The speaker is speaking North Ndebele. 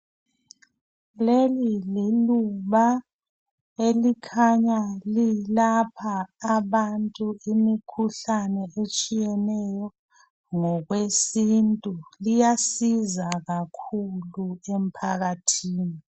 Leli iluba elikhanya lilapha abantu imikhuhlane etshiyeneyo ngokwesintu liyanceda kakhulu emphakathini.